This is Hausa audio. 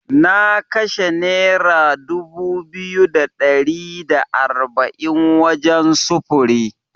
Na kashe Nera dubu biyu da ɗari da arba’in wajen sufuri.